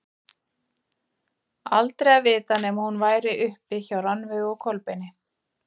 Aldrei að vita nema hún væri uppi hjá Rannveigu og Kolbeini.